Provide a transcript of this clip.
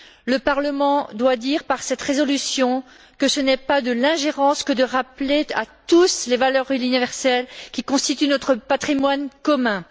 Le Parlement doit dire, par cette résolution, que ce n'est pas de l'ingérence que de rappeler à tous les valeurs universelles qui constituent notre patrimoine commun.